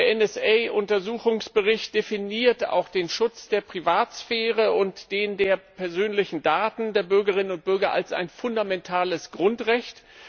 Der NSA Untersuchungsbericht definiert den Schutz der Privatsphäre und den Schutz der persönlichen Daten der Bürgerinnen und Bürger als ein fundamentales Grundrecht.